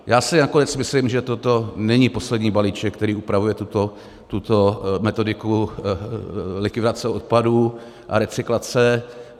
Já si nakonec myslím, že toto není poslední balíček, který upravuje tuto metodiku likvidace odpadů a recyklace.